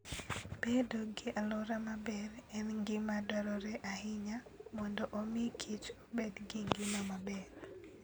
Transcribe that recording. Bedo gi alwora maber en gima dwarore ahinya mondo omi kich obed gi ngima maber.